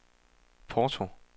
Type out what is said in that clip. Porto